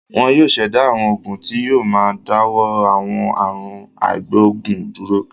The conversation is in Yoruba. Wọn yóò ṣẹ̀dá àwọn oògùn tí yóò máa dáwọ́ àwọn àrùn àìgboògùn dúró.